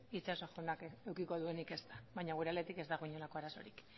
itxaso jaunak edukiko duenik ezta baina gure aldetik ez dago inolako arazorik